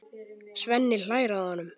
Svenni hlær að honum.